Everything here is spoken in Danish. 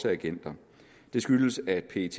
agenter det skyldes at pet